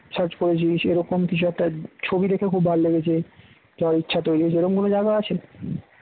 search করেছিস এরকম কিছু একটা ছবি দেখে খুব ভালো লেগেছে তো ইচ্ছা তৈরি হয়েছে এরকম কোন জায়গা আছে